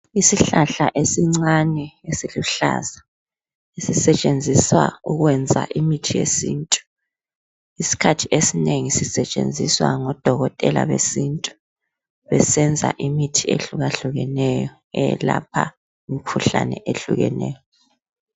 Isihlahla esincane esiluhlaza. Sisetshenziswa ukwenza imithi yesintu. Iskhathi esinengi sesitshenziswa ngodokotela besintu, besenza imithi ehlukahlukeneyo, eyelapha imkhuhlane ehlukeneyo.